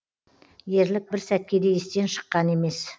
ерлік бір сәтке де естен шыққан емес